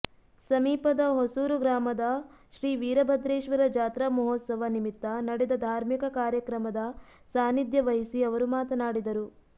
ಸಮೀಪದ ಹೊಸೂರ ಗ್ರಾಮದ ಶ್ರೀ ವೀರಭದ್ರೇಶ್ವರ ಜಾತ್ರಾ ಮಹೋತ್ಸವ ನಿಮಿತ್ತ ನಡೆದ ಧಾರ್ಮಿಕ ಕಾರ್ಯಕ್ರಮದ ಸಾನ್ನಿಧ್ಯವಹಿಸಿ ಅವರು ಮಾತನಾಡಿದರು